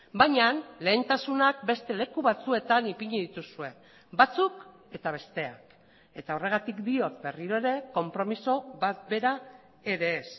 baina lehentasunak beste leku batzuetan ipini dituzue batzuk eta besteak eta horregatik diot berriro ere konpromiso bat bera ere ez